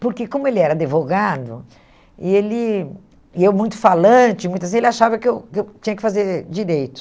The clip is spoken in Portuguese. Porque como ele era advogado, e ele e eu muito falante, muito assim, ele achava que eu que eu tinha que fazer direito.